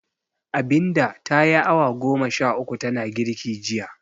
Abinda ta yi awa goma sha uku tana girki jiya.